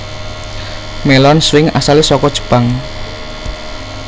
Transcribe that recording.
Melon swing asale saka Jepang